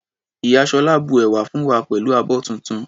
Ìyá Sola bu ẹ̀wà fún wa pẹ̀lú abọ́ tuntun.